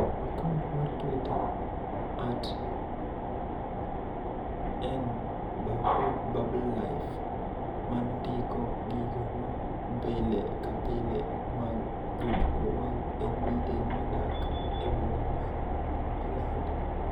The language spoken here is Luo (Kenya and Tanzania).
Akaont mar Twitter -- @nbabubblelife -- mandiko gigo ma pile ka pile mag jotugo mag NBA madak e boma mar Orlando